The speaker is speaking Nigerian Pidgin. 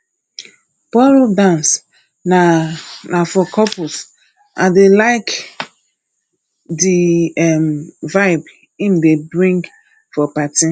ballroom dance na na for couples i dey like di um vibe im dey bring for party